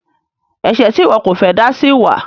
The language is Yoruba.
Ẹ̀ṣẹ̀ tí iwọ kọ fẹ́ dá sí wa?